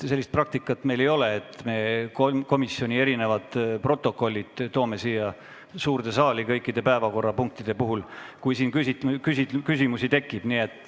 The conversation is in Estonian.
Sellist praktikat meil ei ole, et me komisjoni protokollid kõikide päevakorrapunktide puhul siia suurde saali tooksime, juhuks kui peaks küsimusi tekkima.